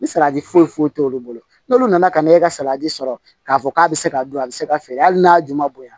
Ni salati foyi foyi t'olu bolo n'olu nana ka na e ka salati sɔrɔ k'a fɔ k'a be se ka don a be se ka feere hali n'a juman bonya